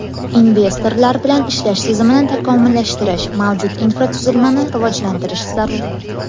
Investorlar bilan ishlash tizimini takomillashtirish, mavjud infratuzilmani rivojlantirish zarur.